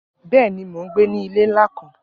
Bẹẹni, Mo n gbe ni ile nla kan.